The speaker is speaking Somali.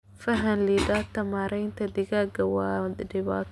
Faham liidata ee maaraynta digaaga waa dhibaato.